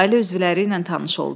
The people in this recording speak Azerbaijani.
Ailə üzvləri ilə tanış oldu.